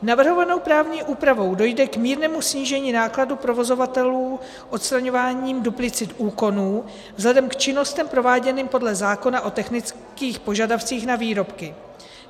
Navrhovanou právní úpravou dojde k mírnému snížení nákladů provozovatelů odstraňováním duplicit úkonů vzhledem k činnostem prováděným podle zákona o technických požadavcích na výrobky.